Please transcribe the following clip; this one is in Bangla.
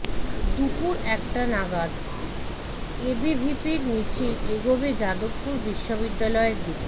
দুপুর একটা নাগাদ এবিভিপির মিছিল এগোবে যাদবপুর বিশ্ববিদ্যালয়ের দিকে